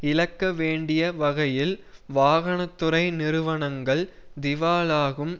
இழக்க வேண்டிய வகையில் வாகன துறை நிறுவனங்கள் திவாலாகும்